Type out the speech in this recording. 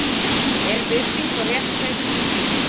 Er virðing og réttlæti í því